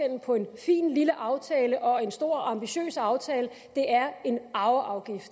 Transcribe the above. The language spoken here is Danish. på en fin lille aftale og en stor og ambitiøs aftale er en arveafgift